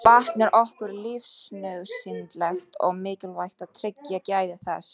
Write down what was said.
Vatn er okkur lífsnauðsynlegt og mikilvægt að tryggja gæði þess.